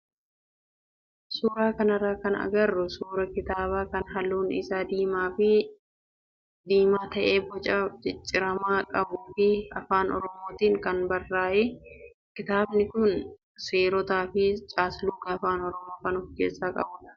Suuraa kanarraa kan agarru suuraa kitaabaa kan halluun isaa diimaa fi diimaa ta'ee boca micciiramaa qabuu fi afaan oromootiin kan barraa'edha. Kitaabni kun seerotaa fi caasluga afaan oromoo kan of keessaa qabudha.